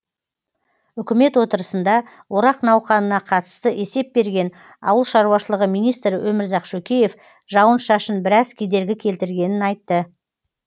үкімет отырысында орақ науқанына қатысты есеп берген ауыл шаруашылығы министрі өмірзақ шөкеев жауын шашын біраз кедергі келтіргенін айтты